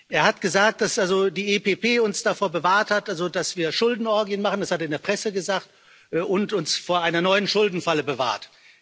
Er hat gesagt, dass die EPP uns davor bewahrt hat, dass wir Schuldenorgien machen, das hat er in der Presse gesagt und uns vor einer neuen Schuldenfalle bewahrt.